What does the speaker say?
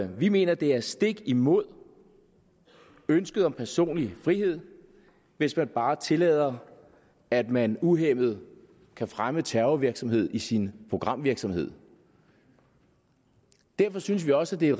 vi mener at det er stik imod ønsket om personlig frihed hvis man bare tillader at man uhæmmet kan fremme terrorvirksomhed i sin programvirksomhed derfor synes vi også at det